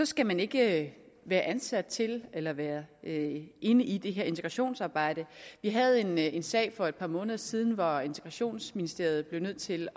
skal man ikke være ansat til eller være inde i det her integrationsarbejde vi havde en sag for et par måneder siden hvor integrationsministeriet blev nødt til